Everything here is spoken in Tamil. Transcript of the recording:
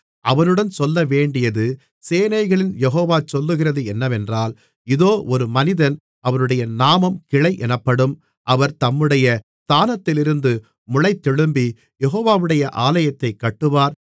அவனுடன் சொல்லவேண்டியது சேனைகளின் யெகோவா சொல்லுகிறது என்னவென்றால் இதோ ஒரு மனிதன் அவருடைய நாமம் கிளை என்னப்படும் அவர் தம்முடைய ஸ்தானத்திலிருந்து முளைத்தெழும்பிக் யெகோவாவுடைய ஆலயத்தைக் கட்டுவார்